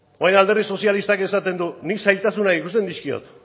orain alderdi sozialistak esaten du nik zailtasunak ikusten dizkiot